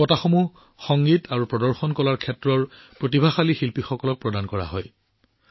এই বঁটাবোৰ সংগীত আৰু প্ৰদৰ্শন কলাৰ ক্ষেত্ৰত উদীয়মান প্ৰতিভাশালী শিল্পীসকলক প্ৰদান কৰা হৈছিল